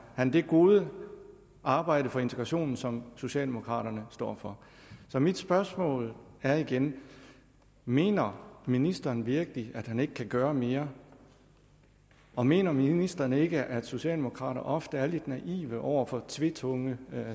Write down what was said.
han det gode arbejde for integrationen som socialdemokraterne står for så mit spørgsmål er igen mener ministeren virkelig at han ikke kan gøre mere og mener ministeren ikke at socialdemokrater ofte er lidt naive over for tvetunget